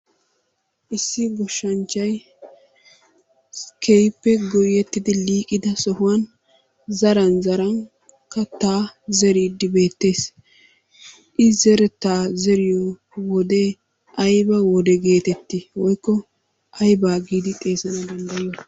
Issi goshshanchchay keehippe goyettidi liiqida sohuwan zaran zaran kattaa zeriiddi beettees. I zerettaa zeriyo wodee ayba wode geetettii woykko aybaa giidi xeegana danddayiyo?